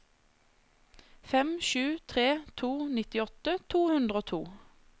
fem sju tre to nittiåtte to hundre og to